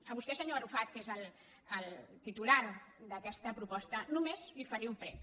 a vostè senyor arrufat que és el titular d’aquesta proposta només li faré un prec